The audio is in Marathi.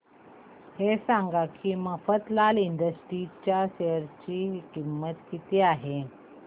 हे सांगा की मफतलाल इंडस्ट्रीज च्या शेअर ची किंमत किती आहे